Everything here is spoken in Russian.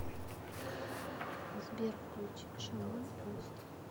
сбер включи шаман остров